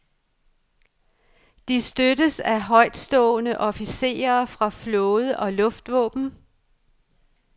De støttes af højtstående officerer fra flåde og luftvåben.